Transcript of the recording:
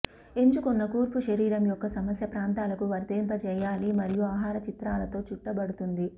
ఎంచుకున్న కూర్పు శరీరం యొక్క సమస్య ప్రాంతాలకు వర్తింప చేయాలి మరియు ఆహార చిత్రాలతో చుట్టబడుతుంది